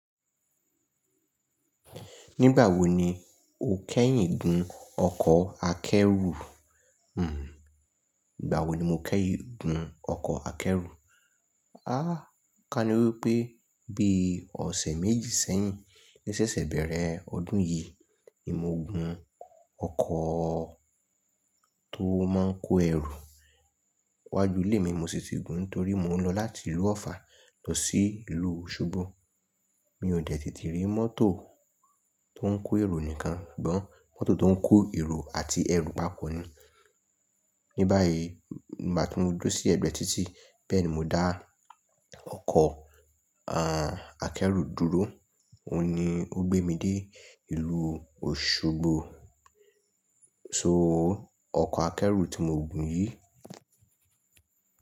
Nígbà wo ni o kẹ́yìn gun ọkọ̀ akẹ́rù? Hmm, ìgbà wo ni mo kẹ́yìn gun ọkọ̀ akẹ́rù? Ah! Ka níwé pé bí ọ̀sẹ̀ méjì sẹ́yìn. Ní ṣẹ́ṣẹ́ bẹ̀rẹ̀ ọdún yìí ni mo gun ọkọ̀ tó máa ń kó ẹrù wá ju ilé mi mo sì ti gun nítorí mò ń lọ láti ìlú Ọ̀ffà lọ sí ìlú Òṣogbo. Mi ò dẹ̀ tete rí mọ́tò tó ń kó èrò nìkan, sugbọ́n mọ́tò tó ń kó èrò àti ẹrù pápọ̀ ni. Ní báyìí, máa tún duró sí ẹ̀gbẹ́ títí bẹ́ẹ̀ ni mo dá ọkọ̀, à, akẹ́rù dúró. Ó ni ó gbé mi dé ìlú Òṣogbo. So, ọkọ̀ akẹ́rù tí mo gùn yìí.